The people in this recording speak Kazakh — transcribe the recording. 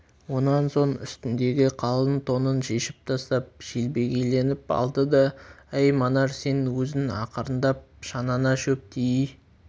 онан соң үстіндегі қалың тонын шешіп тастап желбегейленіп алды да әй манар сен өзің ақырындап шанаңа шөп тией